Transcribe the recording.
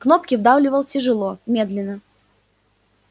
кнопки вдавливал тяжело медленно